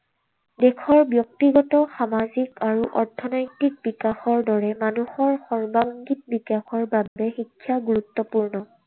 দেশৰ ব্যক্তিগত, সামাজিক আৰু অৰ্থনৈতিক বিকাশৰ দৰে মানুহৰ সৰ্বাঙ্গীন বিকাশৰ বাবে শিক্ষা গুৰুত্বপূৰ্ণ।